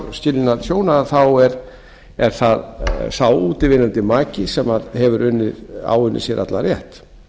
skilnað hjóna þá er það sá útivinnandi maki sem hefur áunnið sér allan rétt